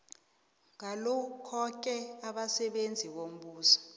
ngalokhoke abasebenzi bombuso